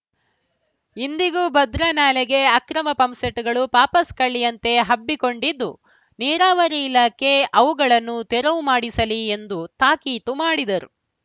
ಇಂದಿಗೂ ಭದ್ರಾ ನಾಲೆಗೆ ಅಕ್ರಮ ಪಂಪ್‌ಸೆಟ್‌ಗಳು ಪಾಪಸ್‌ ಕಳ್ಳಿಯಂತೆ ಹಬ್ಬಿಕೊಂಡಿದ್ದು ನೀರಾವರಿ ಇಲಾಖೆ ಅವುಗಳನ್ನು ತೆರವು ಮಾಡಿಸಲಿ ಎಂದು ತಾಕೀತು ಮಾಡಿದರು